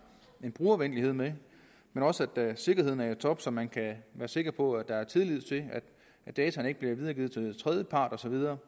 en brugervenlighed med men også at sikkerheden er i top så man kan være sikker på at der er tillid til at dataene ikke bliver videregivet til tredjepart og så videre